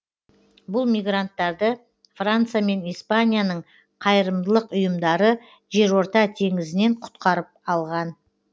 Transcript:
бұл мигранттарды франция мен испанияның қайырымдылық ұйымдары жерорта теңізінен құтқарып алған